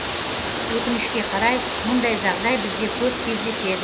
өкінішке қарай мұндай жағдай бізде көп кездеседі